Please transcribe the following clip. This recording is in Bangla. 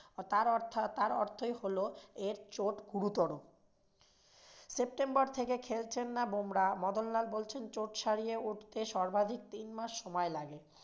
তার অর্থাৎ~ অর্থই লহো এর চোট গুরুতর। সেপ্টেম্বর থেকে খেলছেন না বুমরাহ মদনলাল বলছেন চোট সারিয়ে উঠতে সর্বাধিক তিন মাস সময় লাগে।